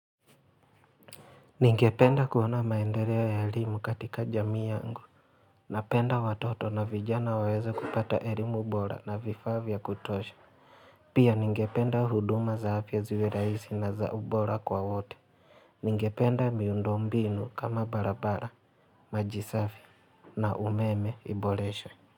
Ningependa kuona maendeleo ya elimu katika jamii yangu, Napenda watoto na vijana waweze kupata elimu bora na vifaa vya kutosha. Pia ningependa huduma za afya ziwe rahisi na za ubora kwa wote. Ningependa miundo mbinu kama barabara, maji safi na umeme iboreshwe.